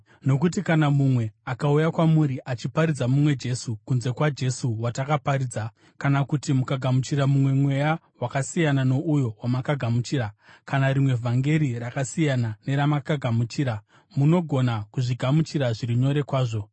Nokuti kana mumwe akauya kwamuri achiparidza mumwe Jesu kunze kwaJesu watakaparidza, kana kuti mukagamuchira mumwe mweya wakasiyana nouyo wamakagamuchira, kana rimwe vhangeri rakasiyana neramakagamuchira, munogona kuzvigamuchira zviri nyore kwazvo.